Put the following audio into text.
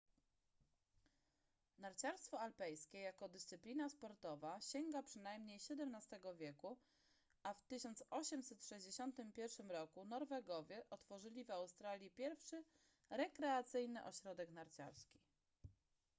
narciarstwo alpejskie jako dyscyplina sportowa sięga przynajmniej xvii wieku a w 1861 roku norwegowie otworzyli w australii pierwszy rekreacyjny ośrodek narciarski